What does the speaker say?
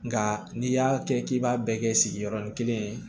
Nga n'i y'a kɛ k'i b'a bɛɛ kɛ sigiɔrɔnin kelen